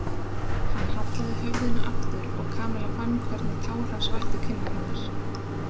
Hann hallaði höfðinu aftur og Kamilla fann hvernig tár hans vættu kinnar hennar.